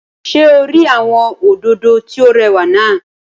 Ṣé o rí àwọn òdòdó tí ó rẹwà náà?